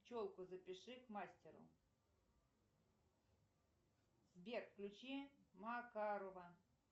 челку запиши к мастеру сбер включи макарова